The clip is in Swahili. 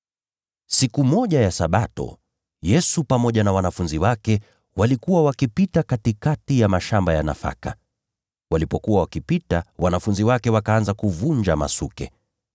Siku moja ya Sabato, Yesu pamoja na wanafunzi wake walikuwa wakipita katikati ya mashamba ya nafaka. Walipokuwa wakitembea, wanafunzi wake wakaanza kuvunja masuke.